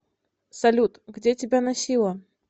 салют где тебя носило